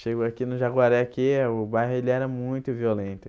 Chego aqui no Jaguareque aqui eh, o bairro ele era muito violento.